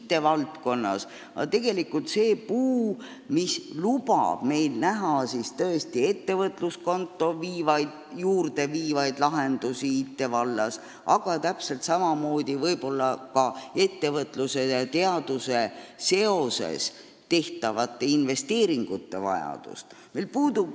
Meil ei ole seda puud, mis lubaks näha ettevõtluskontoni viivaid lahendusi IT-vallas, aga täpselt samamoodi ei ole meil ka infot selliste investeeringute vajaduse kohta, mis seovad ettevõtlust ja teadust.